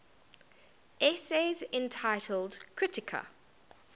essays entitled kritika